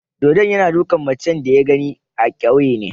Dodon yana dukan macen da ya gani a kauyena.